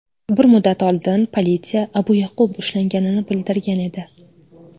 Bir muddat oldin politsiya Abu Ya’qub ushlanganini bildirgan edi .